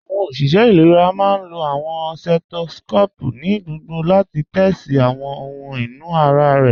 Awọn oṣiṣẹ ilẹ̀rà máá n lọ awọn setoscopu ni gbogbò láti tẹtí sí awọn ọhun inú ara rẹ.